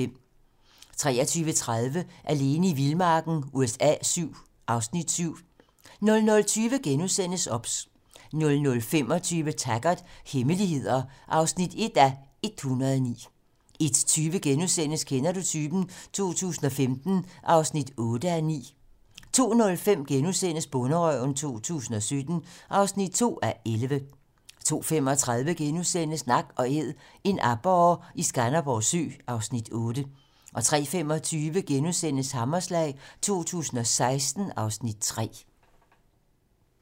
23:30: Alene i vildmarken USA VII (Afs. 7) 00:20: OBS * 00:25: Taggart: Hemmeligheder (1:109) 01:20: Kender du typen? 2015 (8:9)* 02:05: Bonderøven 2017 (2:11)* 02:35: Nak & æd - en aborre i Skanderborg Sø (Afs. 8)* 03:25: Hammerslag 2016 (Afs. 3)*